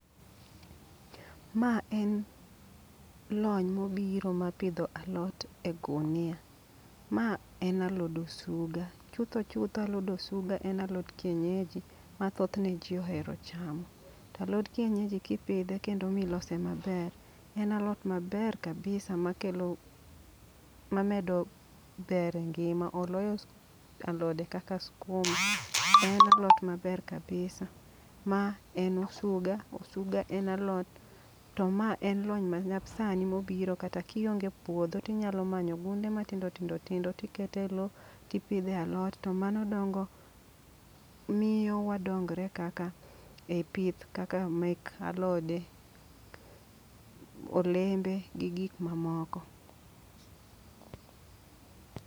Ma en lony mobiro ma pidho alot e gunia, ma en alod osuga. Chutho chutho alod osuga en alot kienyaji ma thothne ji ohero chamo. Ta lod kienyeji kipidhe kendo milose maber, en alot maber kabisa ma kelo ma medo ber e ngima. Oloyo alode kaka skuma, en alot maber kabisa. Ma en osuga, osuga en alot to ma en lony ma nyasani mobiro kata kionge e puodho tinyalo manyo gunde matindo tindo tikete lo. Tipidhe alot to mano miyo wadonge ei pith kaka mek alode, olembe gi gik mamoko.